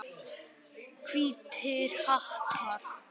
Hvítir hattar.